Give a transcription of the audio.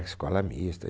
escola mista.